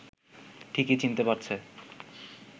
ঠিকই চিনতে পারছে